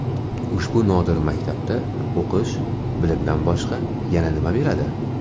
Ushbu nodir maktabda o‘qish, bilimdan boshqa yana nima beradi?